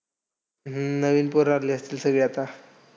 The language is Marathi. हम्म नवीन पोरं आली असतील सगळी आता.